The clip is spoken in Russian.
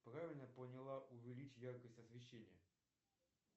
правильно поняла увеличь яркость освещения